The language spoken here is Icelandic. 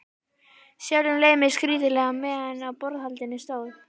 Sjálfum leið mér skrýtilega meðan á borðhaldinu stóð.